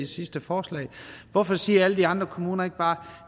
sidste forslag hvorfor siger alle de andre kommuner ikke bare